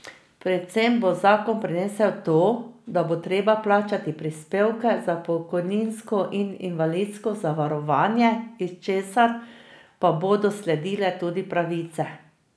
Predvsem bo zakon prinesel to, da bo treba plačati prispevke za pokojninsko in invalidsko zavarovanje, iz česar pa bodo sledile tudi pravice.